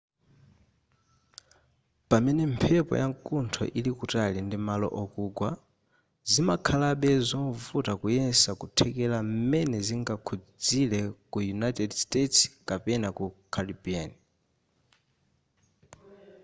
pamene mphepo yamkuntho ili kutali ndi malo okugwa zimakhalabe zovuta kuyesa kuthekera m'mene zingakhuzire ku united states kapena ku caribbean